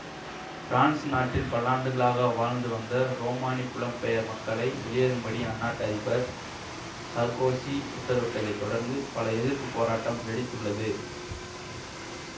France நாட்டில் பல்லாண்டுகளாக வாழ்ந்துவந்த உரோமானி புலம்பெயர் மக்களை வெளியேறும்படி அந்நாட்டு அதிபர் சர்க்கோசி உத்தரவிட்டதைத் தொடர்ந்து பல எதிர்ப்பு போராட்டம் வெடித்துள்ளது